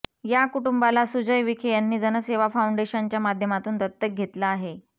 या कुटुंबाला सुजय विखे यांनी जनसेवा फाऊंडेशनच्या माध्यमातून दत्तक घेतलं आहे